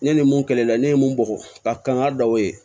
Ne ni mun kɛlen don ne ye mun bugɔ ka kanga dɔ ye